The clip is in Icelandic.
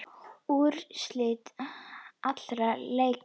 Úrslit allra leikja